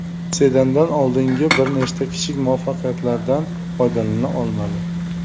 Sedandan oldingi bir nechta kichik muvaffaqiyatlardan foydalana olmadi.